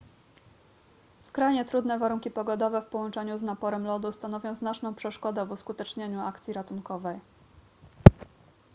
skrajnie trudne warunki pogodowe w połączeniu z naporem lodu stanowią znaczną przeszkodę w uskutecznieniu akcji ratunkowej